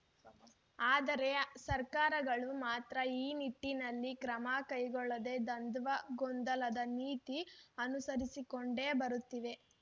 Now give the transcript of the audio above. ಆದರೆ ಸರ್ಕಾರಗಳು ಮಾತ್ರ ಈ ನಿಟ್ಟಿನಲ್ಲಿ ಕ್ರಮ ಕೈಗೊಳ್ಳದೇ ದ್ವಂಧ್ವ ಗೊಂದಲದ ನೀತಿ ಅನುಸರಿಸಿಕೊಂಡೇ ಬರುತ್ತಿವೆ